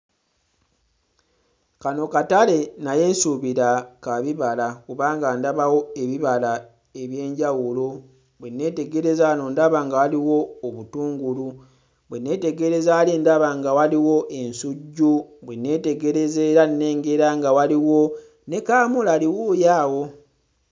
Kano katale naye nsuubira ka bibala kubanga ndabawo ebibala eby'enjawulo bwe nneetegereza wano ndaba nga waliwo obutungulu bwe nneetegereza wali ndaba nga waliwo ensujju bwe nneetegereza era nnengera nga waliwo ne kaamulali wuuyo awo.